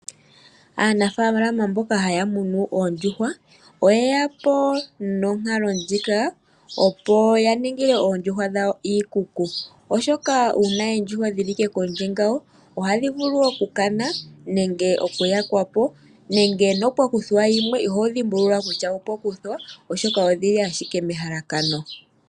Aanafaalama mboka haya munu oondjuhwa oyeya po nonkalo ndjika opo ya ningile oondjuhwa dhawo iikuku, oshoka uuna oondjuhwa dhili ashike kondje ngawo ohadhi vulu okukana nenge okuyakwapo nenge ngele opwa kuthwa yimwe iho dhimbulula kutya opwa kuthwa oshoka odhili ashike mehalakano.